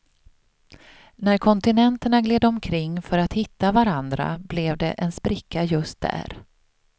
När kontinenterna gled omkring för att hitta varandra, blev det en spricka just där.